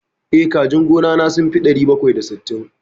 Eh, kajin gona na sun fi ɗari bakwai da sittin.